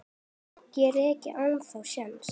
Á rokkið ennþá séns?